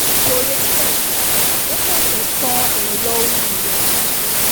kò retí ẹnikẹ́ni ó ṣẹ̀ṣẹ̀ tan ẹ̀rọ omi ìwẹ̀ ni